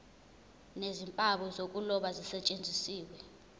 nezimpawu zokuloba zisetshenziswe